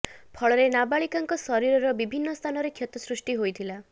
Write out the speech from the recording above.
ଫଳରେ ନାବାଳିକାଙ୍କ ଶରୀରର ବିଭିନ୍ନ ସ୍ଥାନରେ କ୍ଷତ ସୃଷ୍ଟି ହୋଇଥିଲା